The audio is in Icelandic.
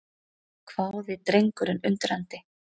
hváði drengurinn undrandi.